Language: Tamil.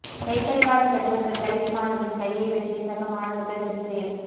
கைக்கடிகாரம் கட்டி வந்த தலித் மாணவரின் கையை வெட்டிய சக மாணவர்கள் வெறிச் செயல்